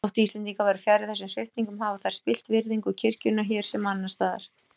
Þótt Íslendingar væru fjarri þessum sviptingum hafa þær spillt virðingu kirkjunnar hér sem annars staðar.